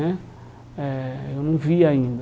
Né eh Eu não vi ainda.